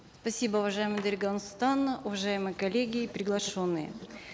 спасибо уважаемая дарига нурсултановна уважаемые коллеги и приглашенные